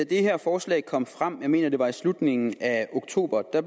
det her forslag kom frem jeg mener at det var i slutningen af oktober